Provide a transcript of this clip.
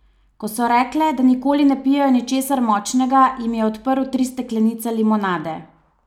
Ko so rekle, da nikoli ne pijejo ničesar močnega, jim je odprl tri steklenice limonade.